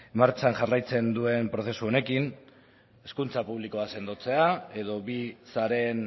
martxan jarraitzen duen prozesu honekin hezkuntza publikoa sendotzea edo bi sareen